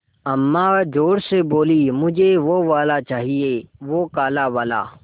अम्मा ज़ोर से बोलीं मुझे वो वाला चाहिए वो काला वाला